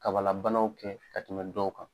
Kabalabanaw kɛ ka tɛmɛ dɔw kan